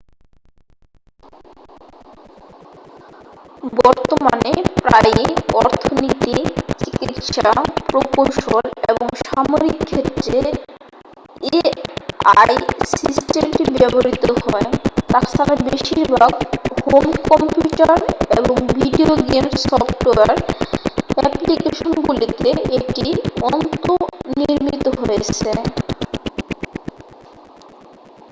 বর্তমানে প্রায়ই অর্থনীতি চিকিৎসা প্রকৌশল এবং সামরিক ক্ষেত্রে এআই সিস্টেমটি ব্যবহৃত হয় তাছাড়া বেশিরভাগ হোম কম্পিউটার এবং ভিডিও গেম সফ্টওয়্যার অ্যাপ্লিকেশনগুলিতে এটি অন্তনির্মিত হয়েছে